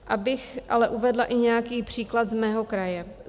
Abych ale uvedla i nějaký příklad z mého kraje.